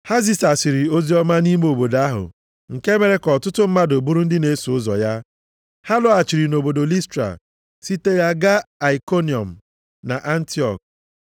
Ha zisasịrị oziọma nʼime obodo ahụ, nke mere ka ọtụtụ mmadụ bụrụ ndị na-eso ụzọ ya. Ha lọghachiri nʼobodo Listra site ya gaa Aikoniọm na Antiọk.